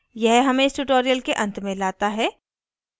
यह हमें इस tutorial के अंत में लाता है